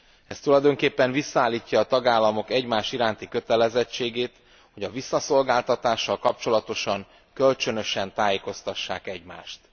Ez tulajdonképpen visszaállítja a tagállamok egymás iránti kötelezettségét, hogy a visszaszolgáltatással kapcsolatosan kölcsönösen tájékoztassák egymást.